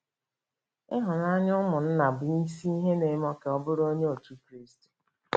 Ịhụnanya ụmụnna bụ isi ihe na-eme ka ọ bụrụ Onye Otú Kristi.